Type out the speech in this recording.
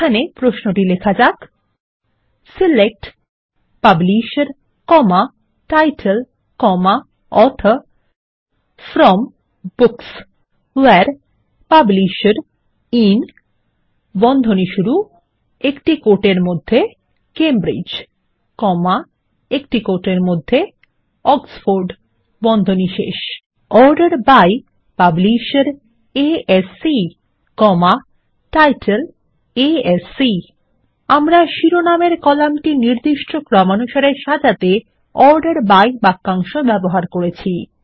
এখানে প্রশ্নটি লেখা যাক 160 select publisher title author from books where publisher in Cambridge Oxford order by publisher ASC title ASC আমরা শিরনামের কলামটি নির্দিষ্ট ক্রমানুসারে সাজাতে অর্ডার বাই বাক্যাংশ ব্যবহার করেছি